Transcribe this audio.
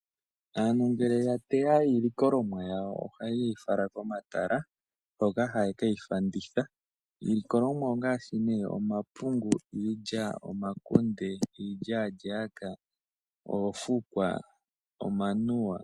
Aantu ngele ya teya iilikolomwa yawo, ohaye yi fala komatala hoka haye keyi fanditha. Iilikolomwa ongaashi omapungu, iilya, omakunde, iilyaalyaaka, oofukwa nomanuwa.